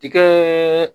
Tikɛ